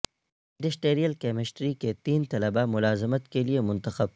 industrial chemistry کے تین طلبہ ملازمت کے لئے منتخب